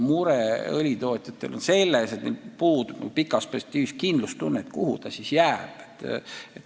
Õlitootjate mure on selles, et neil puudub pikas perspektiivis kindlustunne – kuhu see ikkagi pidama jääb.